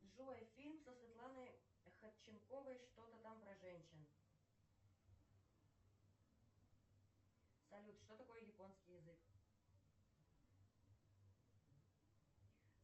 джой фильм со светланой ходченковой что то там про женщин салют что такое японский язык